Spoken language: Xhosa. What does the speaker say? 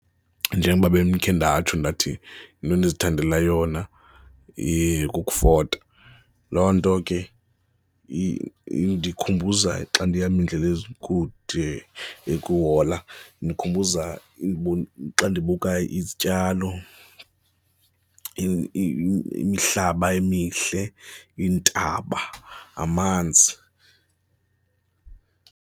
Njengoba bendikhe ndatsho ndathi into endizithandela yona kukufota, loo nto ke indikhumbuza xa ndihamba iindlela ezikude ekuhola indikhumbuza xa ndibuka izityalo, imihlaba emihle, iintaba, amanzi.